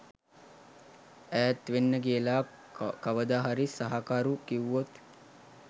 ඈත් වෙන්න කියලා කවදාහරි සහකරු කිව්වොත්?